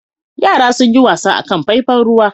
Yara sun yi wasa a kan faifan ruwa.